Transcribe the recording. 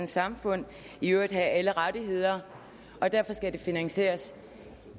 samfund og i øvrigt have alle rettigheder derfor skal det finansieres